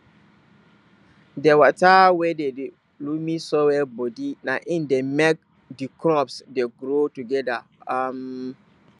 di water wey dey de loamy soil bodi na im dey make di crops dey grow togeda um